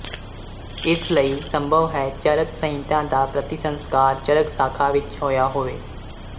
ਇਸ ਲਈ ਸੰਭਵ ਹੈ ਚਰਕ ਸੰਹਿਤਾ ਦਾ ਪ੍ਰਤੀਸੰਸਕਾਰ ਚਰਕ ਸ਼ਾਖਾ ਵਿੱਚ ਹੋਇਆ ਹੋਵੇ